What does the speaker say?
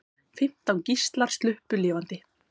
Fimmtán gíslar sluppu lifandi.